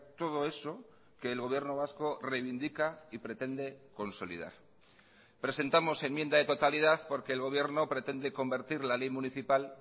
todo eso que el gobierno vasco reivindica y pretende consolidar presentamos enmienda de totalidad porque el gobierno pretende convertir la ley municipal